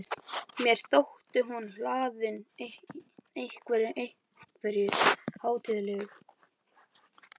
Mér þótti hún hlaðin einhverju- einhverju hátíðlegu.